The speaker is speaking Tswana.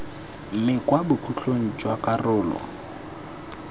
mme kwa bokhutlong jwa karolo